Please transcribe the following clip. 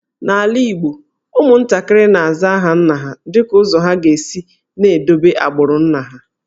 N’ala Igbo, ụmụntakịrị na-aza aha nna ha dịka ụzọ ha ga-esi na-edobe agbụrụ nna ha